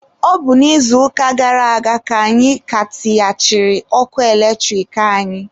Ọ bụ n'izuụka gara aga ka anyị ka tighachiri ọkụ eletrik anyị